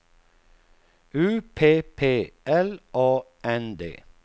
U P P L A N D